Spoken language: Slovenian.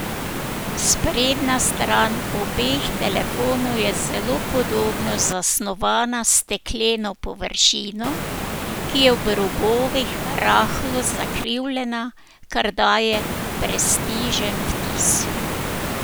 Sprednja stran obeh telefonov je zelo podobno zasnovana s stekleno površino, ki je ob robovih rahlo zakrivljena, kar daje prestižen vtis.